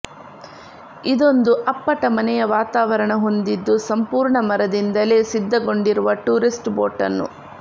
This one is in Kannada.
ಇದೊಂದು ಅಪ್ಪಟ ಮನೆಯ ವಾತಾವರಣ ಹೊಂದಿದ್ದು ಸಂಪೂರ್ಣ ಮರದಿಂದಲೇ ಸಿದ್ಧಗೊಂಡಿರುವ ಟೂರಿಸ್ಟ್ ಬೋಟನ್ನು